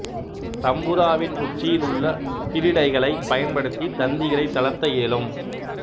தம்பூராவின் உச்சியில் உள்ள பிருடைகளை பயன்படுத்தி தந்திகளைத் தளர்த்த இயலும்